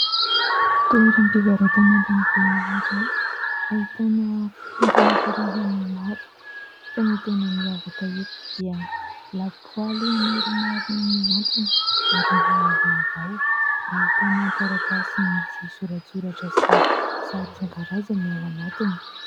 Toeram-pivarotana lehibe iray, ahitana entina karazany maro fa ny tena miavaka eto dia lapoaly maromaro miantona ary mbola vaovao. Ahitana taratasy misy soratsoratra sy sary isan-karazany ao anatiny.